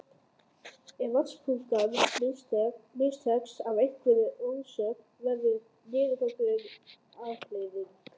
Ef vatnsupptakan mistekst af einhverjum orsökum verður niðurgangur afleiðingin.